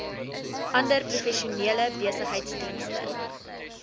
ander professionele besigheidsdienste